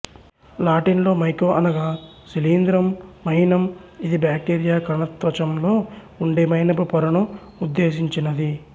Latin లో మైకో అనగా శిలీంద్రం మైనం ఇది బాక్టీరియా కణత్వచంలో ఉండే మైనపు పొరను ఉద్దేశించినది